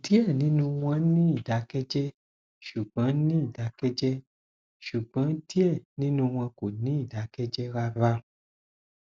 diẹ ninu wọn n ni idakẹjẹ ṣugbọn ni idakẹjẹ ṣugbọn diẹ ninu wọn kò ni idakẹjẹ rara